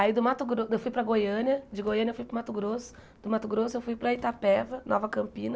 Aí do Mato Grosso, eu fui para Goiânia, de Goiânia eu fui para o Mato Grosso, do Mato Grosso eu fui para Itapeva, Nova Campina,